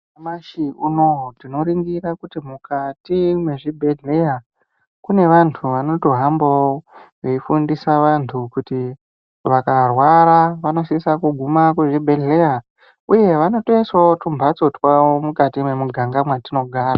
Nyamashi unouyu tinoringira kuti mukati mwezvibhedhleya kune vantu vanotohambavo veifundisa vantu kuti vakarwara vanosisa kuguma kuzvibhedhlera, uye vanotoiswavo tumhatso twavo mukati memuganga mwatinogara,